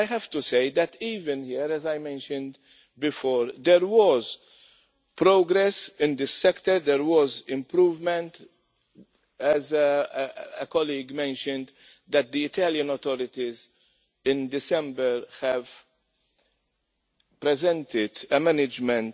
I have to say that even here, as I mentioned before, there was progress in this sector, there was improvement, as a colleague mentioned, that the Italian authorities in December presented a management